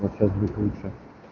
лучше